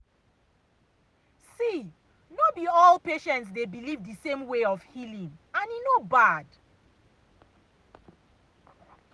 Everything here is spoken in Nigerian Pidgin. see no be all be all patients dey believe the same way of healing and e no be bad.